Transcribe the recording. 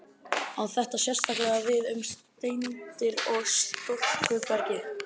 Á þetta sérstaklega við um steindir í storkubergi.